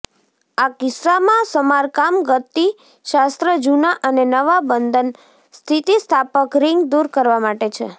આ કિસ્સામાં સમારકામ ગતિશાસ્ત્ર જૂના અને નવા બંધન સ્થિતિસ્થાપક રિંગ દૂર કરવા માટે છે